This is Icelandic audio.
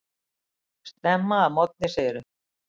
Snemma að morgni segirðu.